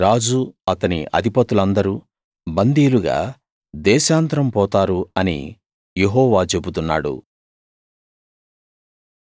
వారి రాజు అతని అధిపతులందరూ బందీలుగా దేశాంతరం పోతారు అని యెహోవా చెబుతున్నాడు